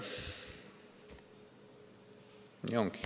Nii ongi.